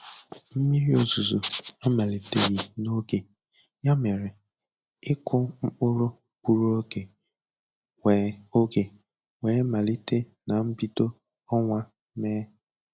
Mmiri ozuzo amaliteghi n'oge, ya mere, ịku mkpụrụ gburu ọge wee ọge wee malite na mbido ọnwa Mee.